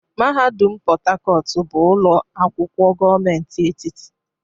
Mahadum Port Harcourt bụ ụlọ akwụkwọ gọọmentị etiti.